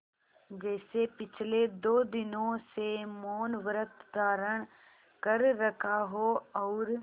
जैसे पिछले दो दिनों से मौनव्रत धारण कर रखा हो और